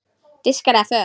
Diskar eða föt?